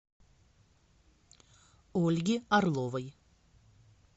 ольги орловой